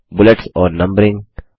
bullets और numbering